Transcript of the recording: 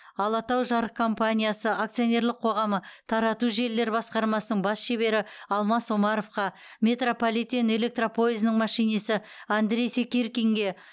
алатаужарык компаниясы акционерлік қоғамы тарату желілері басқармасының бас шебері алмас омаровқа метрополитен электропойызының машинисі андрей секиркинге